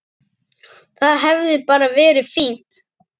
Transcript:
Það hefði bara verið fínt.